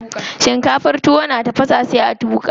Shinkafar tuwo na tafasa sai a tuƙa.